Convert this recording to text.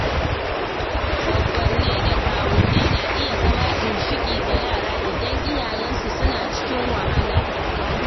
Gwaggonni da kawunnai na iya zama ginshiƙi ga yara idan iyayensu suna cikin wahala.